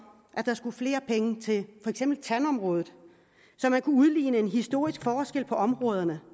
at der skulle flere penge til for eksempel tandområdet så man kunne udligne en historisk forskel på områderne